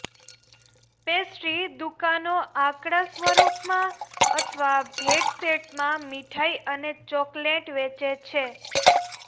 pastry દુકાનો આંકડા સ્વરૂપમાં અથવા ભેટ સેટમાં મીઠાઈ અને ચોકલેટ વેચે છે